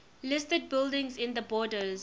listed buildings in the borders